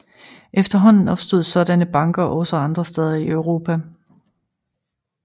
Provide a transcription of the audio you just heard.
Efterhånden opstod sådanne banker også andre steder i Europa